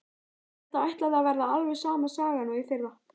Þetta ætlaði að verða alveg sama sagan og í fyrra.